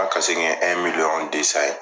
ka kase kun ye ɛn miliɲɔn desan ye